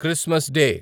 Christmas day